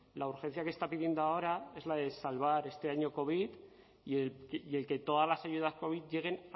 la urgencia que está pidiendo ahora es la de salvar este año covid y el que todas las ayudas covid lleguen